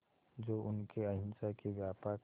जो उनके अहिंसा के व्यापक